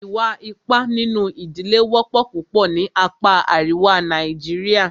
Ìwà ipá nínú ìdílé wọ́pọ̀ púpọ̀ ní apá àríwá Nàìjíríà.